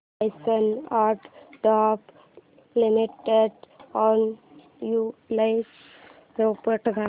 Larsen and टुर्बो limited annual report दाखव